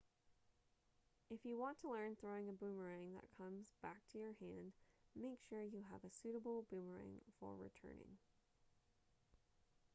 if you want to learn throwing a boomerang that comes back to your hand make sure you have a suitable boomerang for returning